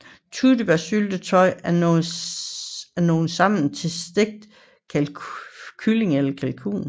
Tyttebærsyltetøj af nogle sammen til stegt kylling eller kalkun